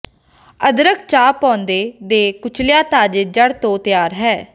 ਅਦਰਕ ਚਾਹ ਪੌਦੇ ਦੇ ਕੁਚਲਿਆ ਤਾਜ਼ੇ ਜੜ੍ਹ ਤੋਂ ਤਿਆਰ ਹੈ